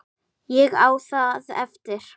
Ég á það eftir.